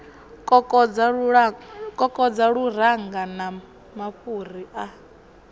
kokodza luranga na mafhuri a